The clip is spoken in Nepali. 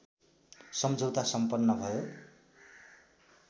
सम्झौता सम्पन्न भयो